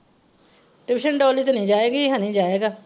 tution Dolly ਤੇ ਨਹੀਂ ਜਾਏਗੀ ਹਨੀ ਜਾਏਗਾ।